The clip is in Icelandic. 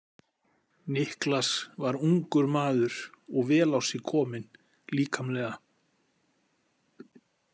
Niklas var ungur maður og vel á sig kominn líkamlega.